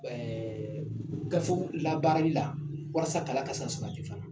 Ɛɛ gafew labaarali la walasa kalan ka se ka sabati